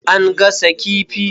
An gasa kifi.